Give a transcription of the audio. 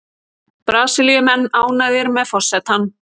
Brasilíumenn ánægðir með forsetann